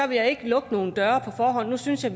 vil jeg ikke lukke nogen døre på forhånd nu synes jeg